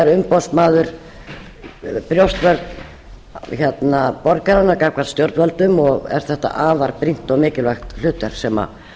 er umboðsmaður brjóstvörn borgaranna gagnvart stjórnvöldum og er þetta afar brýnt og mikilvægt hlutverk sem